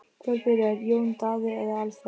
Hvor byrjar, Jón Daði eða Alfreð?